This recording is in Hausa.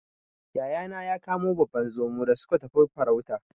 Yayana ya kamo babban Zomo da suka tafi farauta.